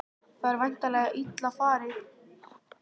Það er væntanlega illa farið?